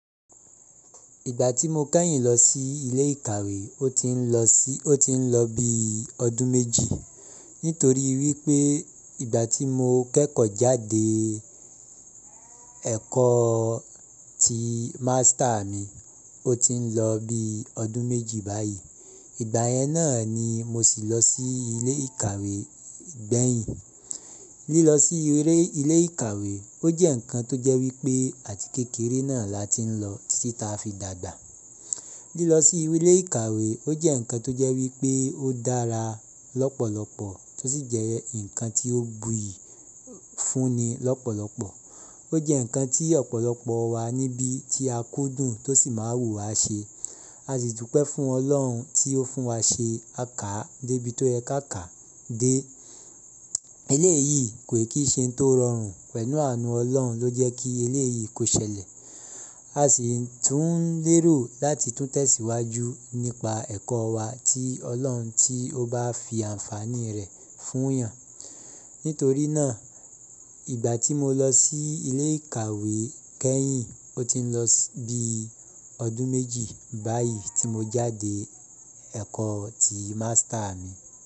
Ìgbà tí mo kẹ́yìn lọ sí ilé ìkàwé, o ti ń lọ bí ọdún méjì. Nítorí wípé ìgbà tí mo kẹ́kọ̀ọ́ jáde ẹ̀kọ́ ti mástà mi, o ti ń lọ bí ọdún méjì báyìí. Ìgbà yẹn náà ni mo si lọ sí ilé ìkàwé gbẹ̀yìn. Lílọ sí ilé ìkàwé ó jẹ́ ǹkan tó jẹ́ wípé àti kékeré náà la ti ń lọ títí ta fi dàgbà. Lílọ sí ilé ìkàwé ó jẹ́ ǹkan tó jẹ́ wípé ó dára lọ́pọ̀lọpọ̀ tó sì jẹ́ ǹkan tó buyì fúnni lọ́pọ̀lọpọ̀. O jẹ́ ǹkan tí ọ̀pọ̀lọpọ̀ wa níbí tí a kú dùn tó sì máa wù wá ṣe. A sì dúpẹ́ fún Ọlọ́run tí ó fún wa ṣe, a kàá dé ibi tó yẹ ká kà á dé. Eléyìí kò kí i ṣe ohun tó rọrùn pẹ̀lú àánú Ọlọ́run ló jẹ́ kí elé yìí kó ṣẹlẹ̀. A sì tún lérò láti tún tẹ̀síwájú nípa ẹ̀kọ́ wa tí Ọlọ́run tí ó bá fi àǹfààní rẹ̀ fún yàn. Nítorí náà ìgbà tí mo lọ sí ilé ìkàwé kẹ́yìn, o ti ń lọ bí ọdún méjì báyìí tí mo jáde ẹ̀kọ́ ti mástà mi.